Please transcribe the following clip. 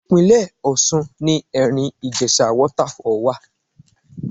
Ìpínlè Ọ̀ṣun ni Ẹ̀rìn-Ìjèṣa Waterfall wà.